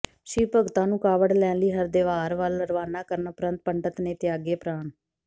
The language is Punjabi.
ਸ਼ਿਵ ਭਗਤਾਂ ਨੂੰ ਕਾਵੜ ਲੈਣ ਲਈ ਹਰਿਦੁਆਰ ਵੱਲ ਰਵਾਨਾ ਕਰਨ ਉਪਰੰਤ ਪੰਡਿਤ ਨੇ ਤਿਆਗੇ ਪ੍ਰਾਣ